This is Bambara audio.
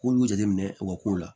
K'olu jateminɛ u ka kow la